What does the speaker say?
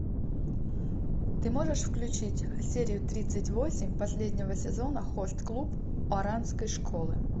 ты можешь включить серию тридцать восемь последнего сезона хост клуб оранской школы